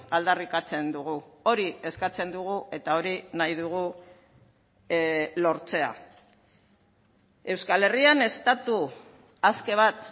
aldarrikatzen dugu hori eskatzen dugu eta hori nahi dugu lortzea euskal herrian estatu aske bat